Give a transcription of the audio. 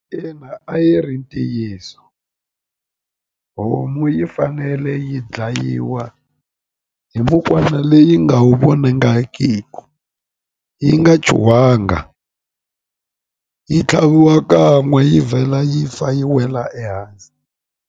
Ina a yi ri ntiyiso homu yi fanele yi dlayiwa hi leyi nga wu vonangikiki yi nga chuhangi yi tlhaviwa kan'we yi vhela yi fa yi wela ehansi.